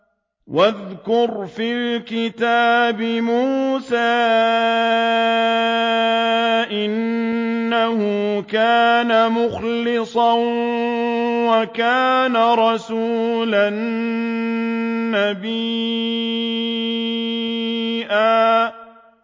وَاذْكُرْ فِي الْكِتَابِ مُوسَىٰ ۚ إِنَّهُ كَانَ مُخْلَصًا وَكَانَ رَسُولًا نَّبِيًّا